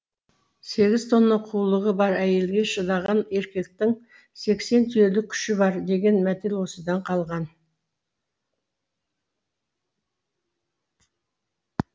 сегіз тонна қулығы бар әйелге шыдаған еркектің сексен түйелік күші бар деген мәтел осыдан қалған